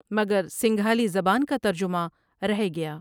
مگر سنگھالی زبان کا ترجمہ رہے گیا ۔